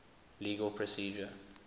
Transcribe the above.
legal procedure